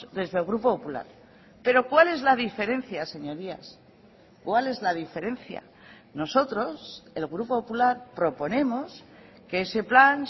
desde el grupo popular pero cuál es la diferencia señorías cuál es la diferencia nosotros el grupo popular proponemos que ese plan